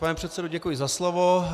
Pane předsedo, děkuji za slovo.